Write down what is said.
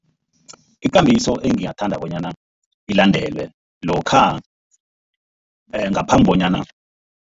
Ikambiso engingathanda bona ilandelwe lokha ngaphambi bonyana.